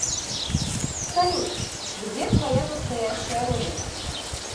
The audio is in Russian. салют где твоя настоящая родина